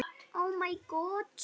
Sögur að sunnan.